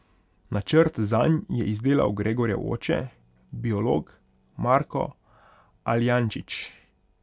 Načrt zanj je izdelal Gregorjev oče, biolog Marko Aljančič.